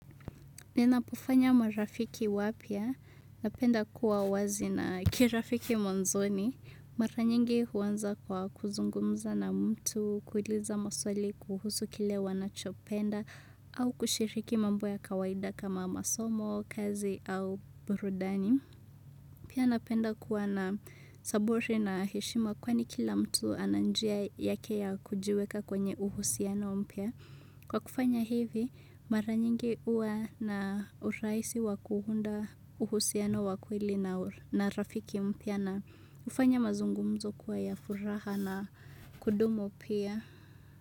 Ninapofanya marafiki wapya, napenda kuwa wazi na kirafiki mwanzoni. Mara nyingi huanza kwa kuzungumza na mtu, kuliza maswali kuhusu kile wanachopenda au kushiriki mambo ya kawaida kama masomo, kazi au burudani. Pia napenda kuwa na saburi na heshima kwani kila mtu ana njia yake ya kujiweka kwenye uhusiano mpia. Kwa kufanya hivi mara nyingi hua na urahisi wa kuunda uhusiano wa kweli na rafiki mpya na ufanya mazungumzo kuwa ya furaha na kudumu pia.